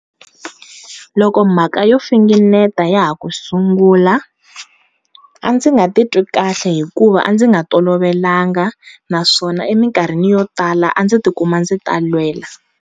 Loko mhaka yo finingeta ya ha ku sungula, a ndzi nga titwi kahle hikuva a ndzi nga tolovelanga naswona emikarhini yo tala a ndzi tikuma ndzi talwela.